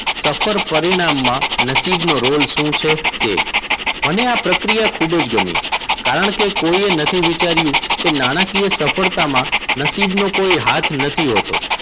સફર પરિણામમાં નસીબ નો રોલ શું છે તે. મને આ પ્રક્રિયા ખૂબ જ ગમ્યું. કારણકે કોઈએ નથી વિચાર્યું કે નાણાકીય સફળતામાં નસીબ નો કોઈ હાથ નથી હોતો.